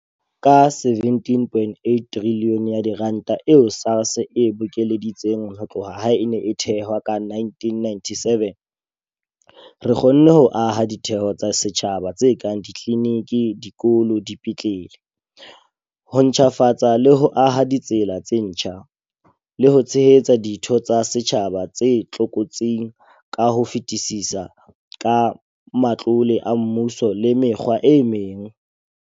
Ka R17.8 trilione eo SARS e bokeleditseng ho tloha ha e ne e thehwa ka 1997, re kgonne ho aha ditheo tsa setjhaba tse kang ditliniki, dikolo, dipetlele, ho ntjhafatsa le ho aha ditsela tse ntjha, le ho tshehetsa ditho tsa setjhaba tse tlokotsing ka ho fetisisa ka matlole a mmuso le mekgwa e meng.